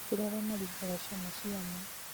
nĩ kũrĩ arĩa maringaga ciama cia maa